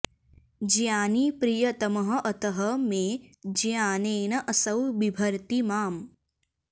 ज्ञानी प्रियतमः अतः मे ज्ञानेन असौ बिभर्ति माम्